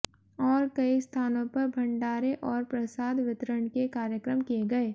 और कई स्थानों पर भंडारे और प्रसाद वितरण के कार्यक्रम किए गए